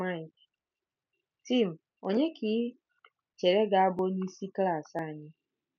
Mike: Tim, ònye ka i chere ga-abụ onyeisi klas anyị?